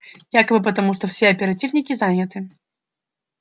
якобы потому что все оперативники заняты